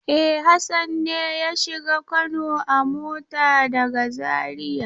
E, Hassan ne ya shiga Kano a mota daga Zariya.